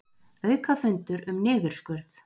Aukafundur um niðurskurð